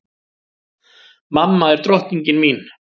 Mamma er drottningin mín.